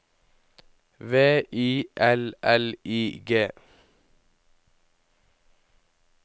V I L L I G